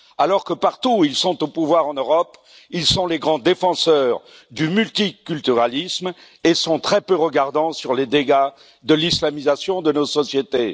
Alors que partout où ils sont au pouvoir en Europe, ils sont les grands défenseurs du multiculturalisme et sont très peu regardants sur les dégâts de l'islamisation de nos sociétés.